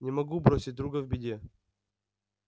не могу бросить друга в беде